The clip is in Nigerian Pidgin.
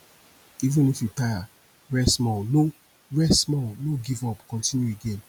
even if you tire rest small no rest small no give up continue again